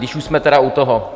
Když už jsme teda u toho.